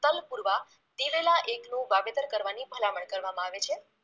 તલ પુરવા દિવેલા એક નું વાવેતર કરવાની ભલામણ કરવામાં આવે છે